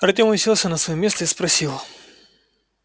артём уселся на своё место и спросил